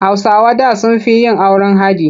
Hausawa da sun fi yin auren haɗi.